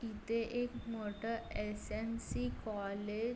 ते एक मोठ एस.एम.सी. कॉलेज --